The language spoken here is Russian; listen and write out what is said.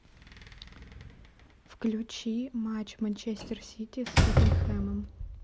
включи матч манчестер сити с тоттенхэмом